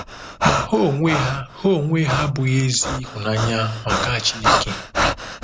Ma ha onwe ha ha onwe ha abụghị ezi ịhụnanya maka Chineke.